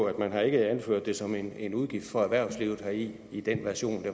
at man har anført det som en en udgift for erhvervslivet i i den version af